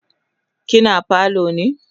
kina falo ne?